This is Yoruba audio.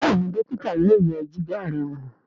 Béèni dókítà yóò yẹ Jìgá rẹ wọ.